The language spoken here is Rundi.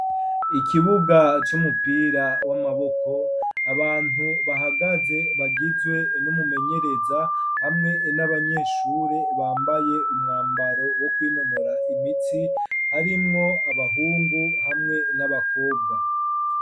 Ikibuga c'umupira w'amaboko abantu bahagaze bagizwe n'umumenyereza hamwe n'abanyeshure bambaye umwambaro wo kwinonora imitsi harimwo abahungu hamwe n'abakobwa.